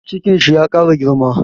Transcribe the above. Cikin shi ya ƙara girma